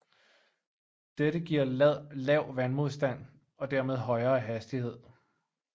Dette giver lav vandmodstand og dermed højere hastighed